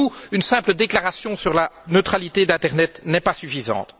Pour nous, une simple déclaration sur la neutralité de l'internet n'est pas suffisante.